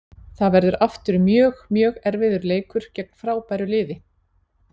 Það verður aftur mjög, mjög erfiður leikur gegn frábæru liði.